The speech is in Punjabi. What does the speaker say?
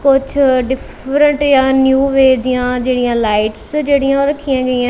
ਕੁੱਛ ਡਿਫਰੇਟ ਨਿਊ ਵੇ ਦਿਆਂ ਜੇਹੜੀਆਂ ਲਾਈਟਸ ਜੇਹੜੀਆਂ ਓਹ ਰੱਖੀਆਂ ਗਈਆਂ।